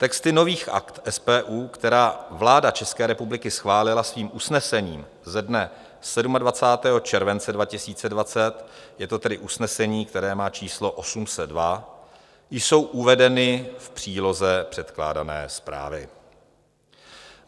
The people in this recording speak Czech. Texty nových Akt SPU, která vláda České republiky schválila svým usnesením ze dne 27. července 2020, je to tedy usnesení, které má číslo 802, jsou uvedeny v příloze předkládané zprávy.